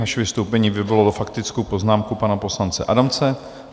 Vaše vystoupení vyvolalo faktickou poznámku pana poslance Adamce.